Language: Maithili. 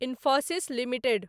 इन्फोसिस लिमिटेड